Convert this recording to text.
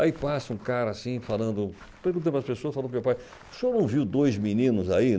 Aí passa um cara assim, falando... perguntando para as pessoas, falando para o meu pai o senhor não viu dois meninos aí?